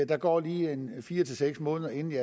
der går lige fire seks måneder inden